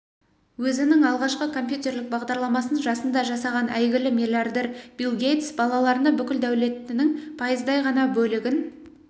өзінің алғашқы компьютерлік бағдарламасын жасында жасаған әйгілі миллиардер билл гейтс балаларына бүкіл дәулетінің пайыздай ғана бөлігін